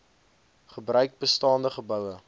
gebruikte bestaande geboue